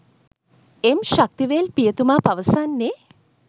එම් ශක්තිවේල් පියතුමා පවසන්නේ